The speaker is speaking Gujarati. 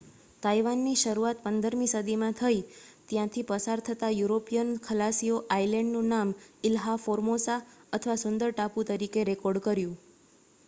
તાઇવાનની શરૂઆત 15 મી સદીમાં થઈ ત્યાંથી પસાર થતા યુરોપિયન ખલાસીઓ આઇલેન્ડનું નામ ઇલ્હા ફોર્મોસા અથવા સુંદર ટાપુ તરીકે રેકોર્ડ કર્યું